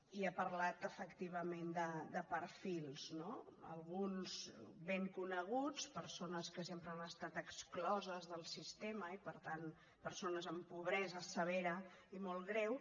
i ha parlat efectivament de perfils no alguns ben coneguts persones que sempre han estat excloses del sistema i per tant persones amb pobresa severa i molt greu